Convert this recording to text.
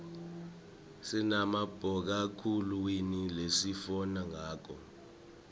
sinabomakhalekhukhwini lesifona ngabo